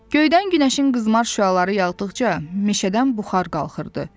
Göydən günəşin qızmar şüaları yağdıqca, meşədən buxar qalxırdı.